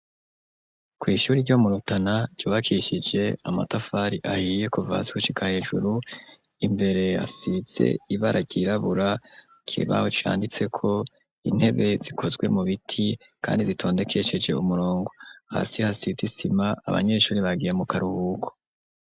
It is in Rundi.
Kw'ishuri ryo murutana ryubakishije amatafari ahiye kuvasusika hejuru imbere yasize ibara ryirabura kebaho canditseko intebe zikozwe mu biti, kandi zitondekesheje umurongo hasi hasizisima abanyeshuri bagiye mu kari uhuko.